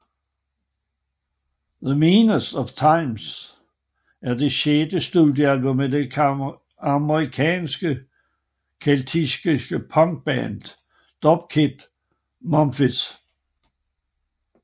The Meanest of Times er det sjette studiealbum af det amerikansk keltiske punkband Dropkick Murphys